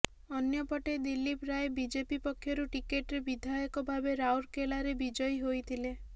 ଅନ୍ୟପଟେ ଦିଲ୍ଲୀପ ରାୟ ବିଜେପି ପକ୍ଷରୁ ଟିକେଟ୍ରେ ବିଧାୟକ ଭାବେ ରାଉରକେଲାରେ ବିଜୟୀ ହୋଇଥିଲେ